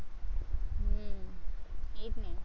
એ જ ને